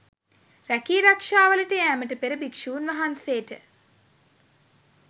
රැකී රක්‍ෂාවලට යෑමට පෙර භික්‍ෂූන්වහන්සේට